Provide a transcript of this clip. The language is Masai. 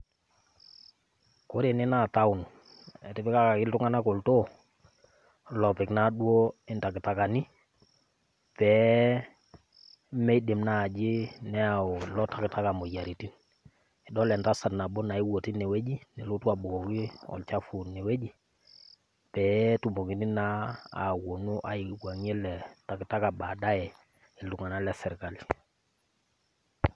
Ore ene naa CS[town]CS etipikakaki iltung'anak olltoo lopik naa duo intakitakani pee meidim naaji neyau ilotakataka imoyiaritin idol entasat nabo naewuo tinewoji nelotu abukoki olchafu inewoji pee netumokini naa aiwang'ie ele takataka baadaye iltung'anak le serkali.